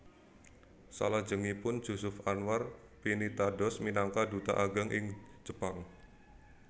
Salajengipun Jusuf Anwar pinitados minangka duta ageng ing Jepang